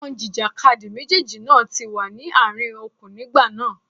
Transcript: Àwọn ajìjàkadì méjèèjì náà ti wà ní àárín okùn nígbà náà.